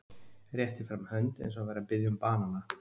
Rétti fram hönd eins og hann væri að biðja um banana.